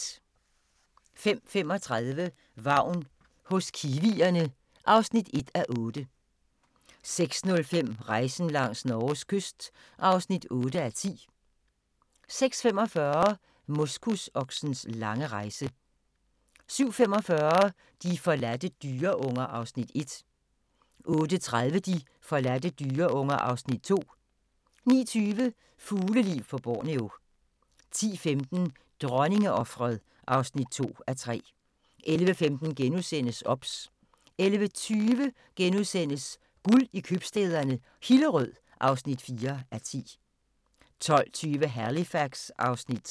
05:35: Vagn hos kiwierne (1:8) 06:05: Rejsen langs Norges kyst (8:10) 06:45: Moskusoksens lange rejse 07:45: De forladte dyreunger (Afs. 1) 08:30: De forladte dyreunger (Afs. 2) 09:20: Fugleliv på Borneo 10:15: Dronningeofret (2:3) 11:15: OBS * 11:20: Guld i købstæderne - Hillerød (4:10)* 12:20: Halifax (Afs. 3)